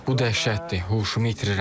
Bu dəhşətdir, huşumu itirirəm.